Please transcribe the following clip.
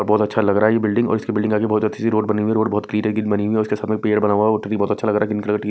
बहोत अच्छा लग रहा ये बिल्डिंग और उसकी बिल्डिंग आगे बहोत अच्छी सी रोड बनी हुई रोड बहोत बनी है उसके के सामने पेड़ बना हुआ है वो भी बहोत अच्छा लग रहा है की--